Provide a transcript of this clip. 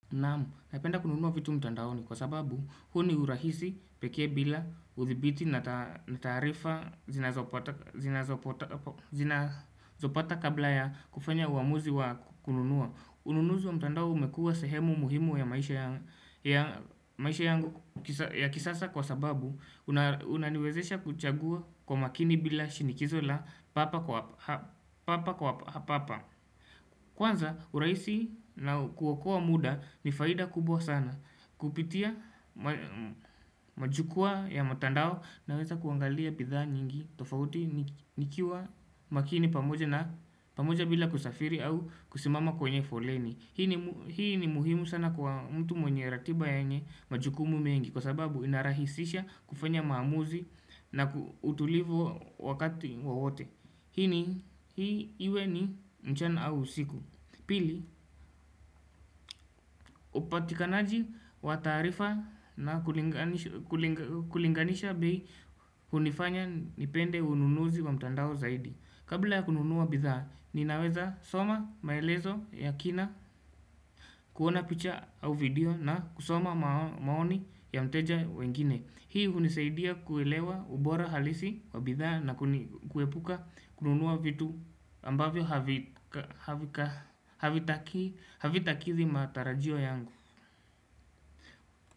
Namu, napenda kununua vitu mtandaoni kwa sababu, huo ni urahisi peke bila uthibiti na tarifa zina zopata kabla ya kufanya uamuzi wa kununua. Ununuzi wa mtandao umekua sehemu muhimu ya maisha yangu ya kisasa kwa sababu, unaniwezesha kuchagua kwa makini bila shinikizo la papo kwa hapa. Kwanza urahisi na kuokoa muda ni faida kubwa sana Kupitia majukwa ya matandao naweza kuangalia bidhaa nyingi tofauti nikiwa makini pamoja na pamoja bila kusafiri au kusimama kwenye foleni Hii ni muhimu sana kwa mtu mwenye ratiba ya nye majukumu mengi Kwa sababu inarahisisha kufanya maamuzi na utulivu wakati wawote Hini, hii iwe ni mchana au siku Pili, upatikanaji wa tarifa na kulinganisha bii hunifanya nipende ununuzi wa mtandao zaidi Kabla ya kununuwa bidhaa, ninaweza soma maelezo ya kina kuona picture au video na kusoma maoni ya mteja wengine Hii huniseidia kuilewa ubora halisi wa bidhaa na kuepuka kununua vitu ambavyo havitaki havitaki zi matarajio yangu.